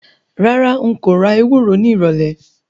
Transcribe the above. Rárá, n kò ra ewúro nírọ̀lẹ̀